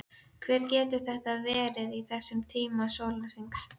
Hver getur þetta verið á þessum tíma sólarhrings?